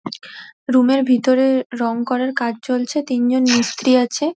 Room -এর ভিতরে রং করার কাজ চলছে তিনজন মিস্ত্রী আছে।